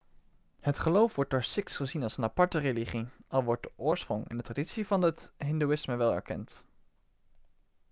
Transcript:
het geloof wordt door sikhs gezien als een aparte religie al wordt de oorsprong en de traditie van het hindoeïsme wel erkend